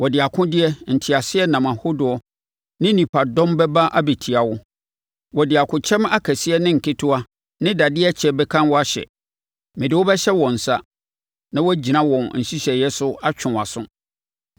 Wɔde akodeɛ, nteaseɛnam ahodoɔ ne nipadɔm bɛba abɛtia wo; wɔde akokyɛm akɛseɛ ne nketewa ne dadeɛ kyɛ bɛka wo ahyɛ. Mede wo bɛhyɛ wɔn nsa, na wɔagyina wɔn nhyehyɛeɛ so atwe wo aso.